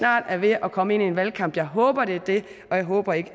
er ved at komme ind i en valgkamp jeg håber det er det og jeg håber ikke